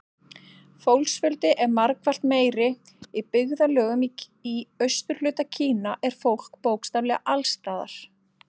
Fólksfjöldi er margfalt meiri Í byggðarlögum í austurhluta Kína er fólk bókstaflega alls staðar.